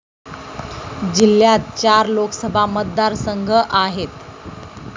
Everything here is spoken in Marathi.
जिल्ह्यात चार लोकसभा मतदारसंघ आहेत.